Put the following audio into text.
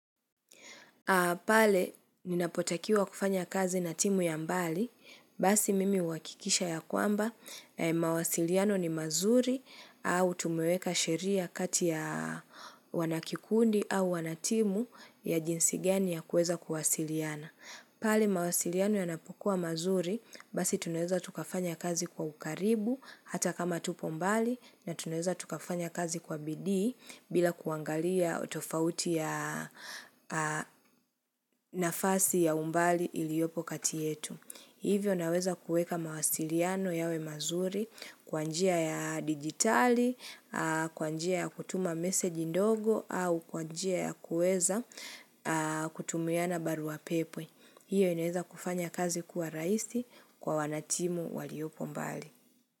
Pale, ninapotakiwa kufanya kazi na timu ya mbali, basi mimi huhakikisha ya kwamba, mawasiliano ni mazuri au tumeweka sheria kati ya wanakikundi au wanatimu ya jinsi gani ya kuweza kuwasiliana. Pale mawasiliano yanapukua mazuri basi tunaweza tukafanya kazi kwa ukaribu hata kama tupo mbali na tunaeza tukafanya kazi kwa bidii bila kuangalia utofauti ya nafasi ya umbali iliopo kati yetu. Hivyo naweza kuweka mawasiliano yawe mazuri kwa njia ya digitali, kwa njia ya kutuma message ndogo au kwa njia ya kuweza kutumiana barua pepe. Hiyo inaweza kufanya kazi kuwa rahisi kwa wanatimu waliopo mbali.